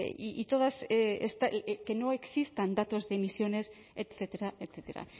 y todas que no existan datos de emisiones etcétera etcétera